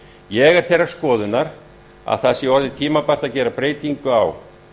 ég er þeirrar skoðunar að það sé orðið tímabært að gera hér breytingu á